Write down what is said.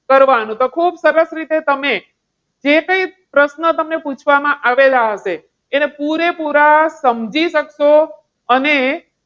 કરવાનું. તો ખુબ સરસ રીતે તમે જે કંઈ પ્રશ્નો તમને પૂછવામાં આવેલા હશે, એને પુરા પુરા સમજી શકશો. અને